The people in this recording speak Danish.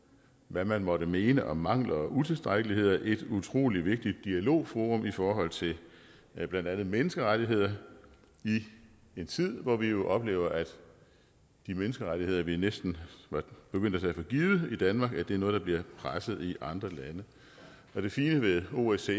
hvad man måtte mene om mangler og utilstrækkeligheder et utrolig vigtigt dialogforum i forhold til blandt andet menneskerettigheder i en tid hvor vi jo oplever at de menneskerettigheder vi næsten var begyndt at tage for givet i danmark er noget der bliver presset i andre lande og det fine ved osce